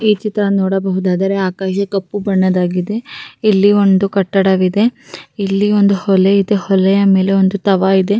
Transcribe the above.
ಈ ಚಿತ್ರ ನೋಡುದಾದ್ರೆ ಆಕಾಶ ಕಪ್ಪು ಬಣ್ಣದ್ ಆಗಿದೆ ಇಲ್ಲಿ ಒಂದು ಕಟ್ಟಡ ಇದೆ ಇಲ್ಲಿ ಒಂದು ಹೊಲೆ ಇದೆ ಹೊಲೆ ಮೇಲೆ ತವ ಇದೆ--